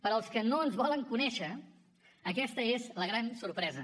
per als que no ens volen conèixer aquesta és la gran sorpresa